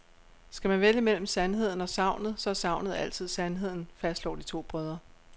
Skal man vælge mellem sandheden og sagnet, så er sagnet altid sandheden, fastslår de to brødre.